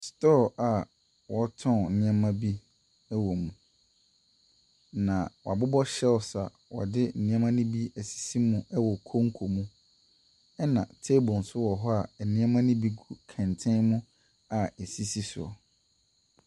Store a wɔɔtɔn nneema bi wɔ mu. Na woabobɔ shelves a ɔde nneema no bi ɛsisi mu ɛwɔ konko mu ɛna table nso wɔ ho a ɛnneema no bi gu kɛntɛn mu a esisi soɔ.